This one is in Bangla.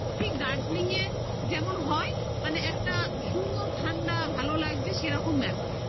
ঠিক দার্জিলিংয়ের যেমন হয় মানে একটা সুন্দর ঠান্ডা ভালো লাগছে সেরকম ব্যাপার